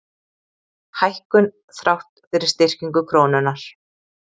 Hækkun þrátt fyrir styrkingu krónunnar